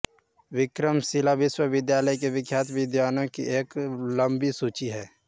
विक्रमशिला विश्वविद्यालय के प्रख्यात विद्वानों की एक लम्बी सूची है